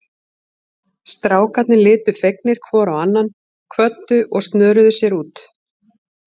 Strákarnir litu fegnir hvor á annan, kvöddu og snöruðu sér út.